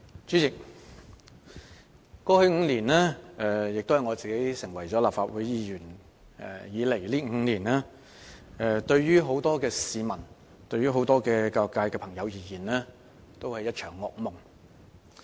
主席，過去5年來，亦即自我成為立法會議員的5年來，對大部分市民和教育界朋友而言，均是一場噩夢。